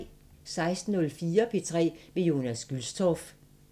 16:04: P3 med Jonas Gülstorff